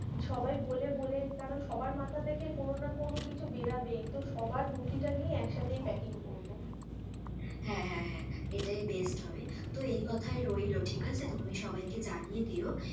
সবাই বলে বলে কারণ, সবার মাথা থেকে কোনো না কোনো কিছুই বেরোবেই, তো সবার বুদ্ধি টা নিয়ে এক সাথেই paking করবো, হ্যাঁ হ্যাঁ এটাই best হবে তো এই কথা রইলো। ঠিক আছে, তুমি সবাই কে জানিয়ে দিও.